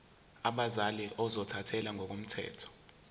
abazali ozothathele ngokomthetho